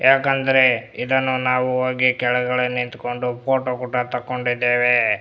ಯಾಕಂದ್ರೆ ಇದನ್ನು ನಾವು ಹೋಗಿ ಕೆಳಗಡೆ ನಿಂಥಂಕೊಂಡು ಫೋಟೋ ಕೂಡ ತಗೊಂಡಿದ್ದೇವೆ --